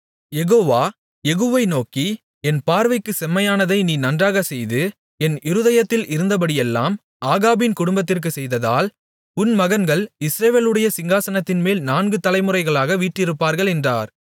யெகோவா யெகூவை நோக்கி என் பார்வைக்குச் செம்மையானதை நீ நன்றாகச் செய்து என் இருதயத்தில் இருந்தபடியெல்லாம் ஆகாபின் குடும்பத்திற்குச் செய்ததால் உன் மகன்கள் இஸ்ரவேலுடைய சிங்காசனத்தின்மேல் நான்கு தலைமுறையாக வீற்றிருப்பார்கள் என்றார்